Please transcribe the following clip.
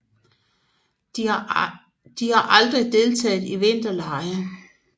De har aldrig deltaget i vinterlege